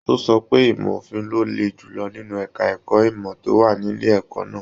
O sọ wípé ìmọ òfin ló lé julọ nínú èka ẹ̀kọ́ ìmọ to wà nílé ẹ̀kọ́ náà.